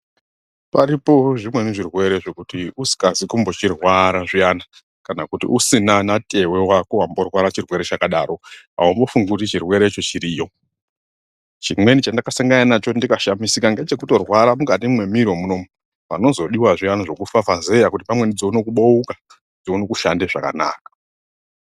Paripo zvimweni zvirwere zvekuti usikazi kumbochirwara zviyani kana kuti usina natewe wako wamborwara chirwere chakadaro aumbofungi kuti chirwere cho chiriyo ,chimweni chandakasangana nacho ndikashamisika ngechecekutorwara mukati mwemiro munoumu panozodiwa zviyani zvekufafazeya kuti pamweni dzione kubouka dzione kushande zvakanaka.